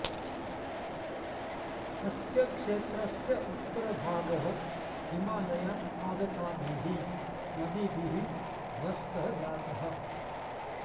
अस्य क्षेत्रस्य उत्तरभागः हिमालयात् आगताभिः नदीभिः ध्वस्तः जातः